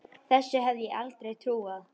Þessu hefði ég aldrei trúað.